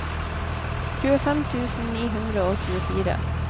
tjuefem tusen ni hundre og tjuefire